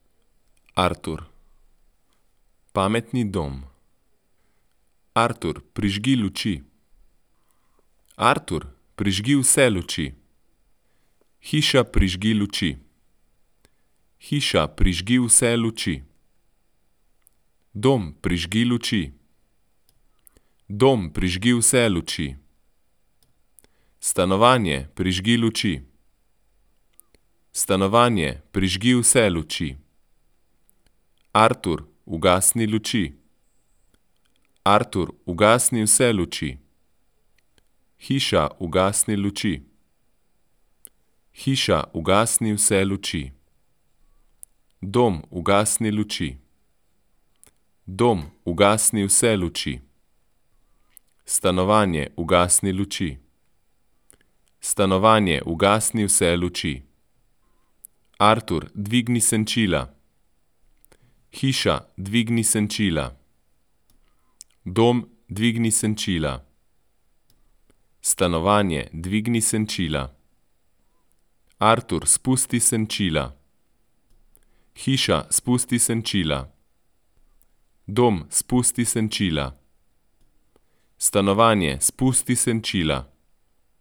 Artur. Pametni dom. Artur, prižgi luči. Artur, prižgi vse luči. Hiša, prižgi luči. Hiša, prižgi vse luči. Dom, prižgi luči. Dom, prižgi vse luči. Stanovanje, prižgi luči. Stanovanje, prižgi vse luči. Artur, ugasni luči. Artur, ugasni vse luči. Hiša, ugasni luči. Hiša, ugasni vse luči. Dom, ugasni luči. Dom, ugasni vse luči. Stanovanje, ugasni luči. Stanovanje, ugasni vse luči. Artur, dvigni senčila. Hiša, dvigni senčila. Dom, dvigni senčila. Stanovanje, dvigni senčila. Artur, spusti senčila. Hiša, spusti senčila. Dom, spusti senčila. Stanovanje, spusti senčila.